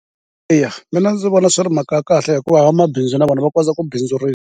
Eya, mina ndzi vona swi ri mhaka ya kahle hikuva vamabindzu na vona va kota ku bindzurisa.